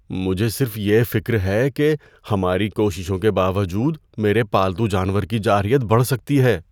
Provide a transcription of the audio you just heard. مجھے صرف یہ فکر ہے کہ ہماری کوششوں کے باوجود، میرے پالتو جانور کی جارحیت بڑھ سکتی ہے۔